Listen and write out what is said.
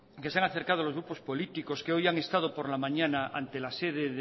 que se han acercado a los grupos políticos que hoy han estado por la mañana ante la sede